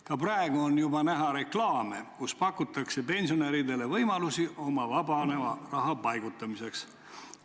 Ka praegu on näha reklaame, kus pakutakse pensionäridele võimalusi oma vabaneva raha paigutamiseks.